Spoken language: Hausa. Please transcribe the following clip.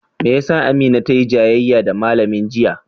Me ya sa Amina tayi jayayya da malamin jiya?